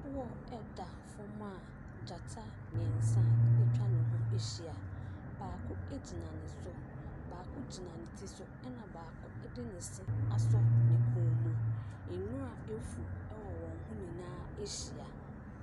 Koɔ da fam a gyata mmeɛnsa atwa ne ho ahyia. Baako gyina ne so. Baako gyina ne ti so na baako de ne se asɔ ne kɔn mu. Nwira afu wɔ wɔn ho nyinaa ahyia.